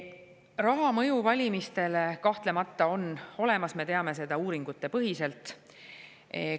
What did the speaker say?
Raha mõju valimistele kahtlemata on olemas, me teame seda uuringutepõhiselt.